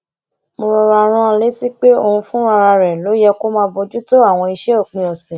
mo rọra rán an létí pé òun fúnra rè ló yẹ kó máa bójú tó àwọn iṣé òpin òsè